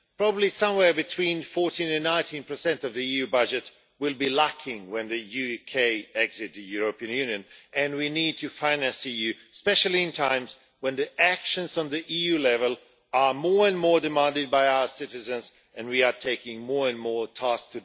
Probably somewhere between 14 and 19 of the EU budget will be lacking when the UK exits the European Union and we need to finance the EU, especially in times when actions at EU level are more and more demanded by our citizens and we are taking on more and more tasks.